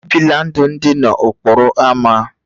E bila ndụ ndị n'okporo ámá